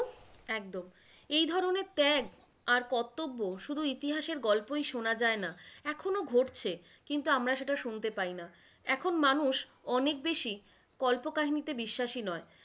একদম, এই ধরনের ত্যাগ আর কর্তব্য, শুধু ইতিহাসের গল্পই শোনা যায়না, এখনো ঘটছে কিন্তু আমরা সেটা শুনতে পাইনা। এখন মানুষ অনেক বেশি কল্প কাহিনীতে বিশ্বাসী নয়।